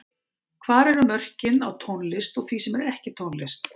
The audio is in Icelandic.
Hvar eru mörkin á tónlist og því sem er ekki tónlist?